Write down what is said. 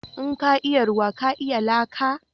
In ka iya ruwa ka iya laka?